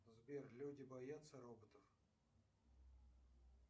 сбер люди боятся роботов